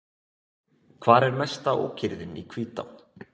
Hvar er mesta ókyrrðin í Hvítá?